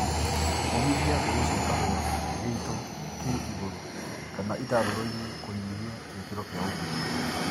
Ũmithia mbegũ cia kahũa gĩito kĩ igũru kana itarũrũinĩ kũnyihia gĩkĩro kĩa ũgunyu